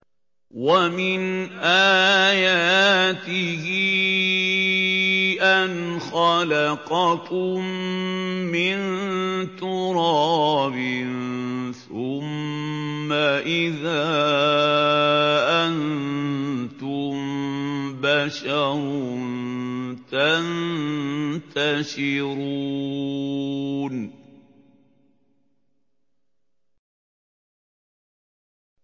وَمِنْ آيَاتِهِ أَنْ خَلَقَكُم مِّن تُرَابٍ ثُمَّ إِذَا أَنتُم بَشَرٌ تَنتَشِرُونَ